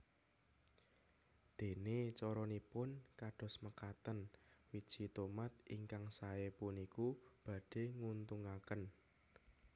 Déné caranipun kados mekaten Wiji tomat ingkang saé puniku badhé nguntungaken